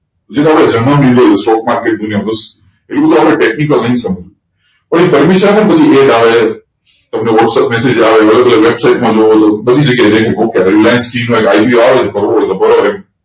evu to aapde technical એના permission માં એજ આવે હે તમને whatsapp message આવે હે અલગ અલગ વેબ્સિતે માં જુડો ઘણી જગ્યા reliance IPO આવે